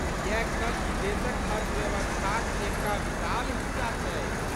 किएक तँ ई देशक अर्थव्यवस्थाक एकटा विशाल हिस्सा छै।